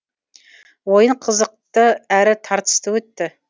ойын қызықты әрі тартысты өтті